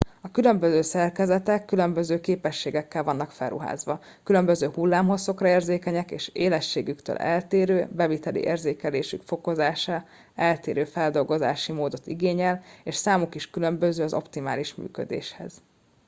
a különböző szerkezetek különböző képességekkel vannak felruházva különböző hullámhosszokra érzékenyek és élességük eltérő beviteli érzékelésük fokozása eltérő feldolgozási módot igényel és számuk is különböző az optimális működéshez